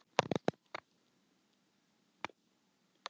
af vaðfuglum er norðspói í mikilli hættu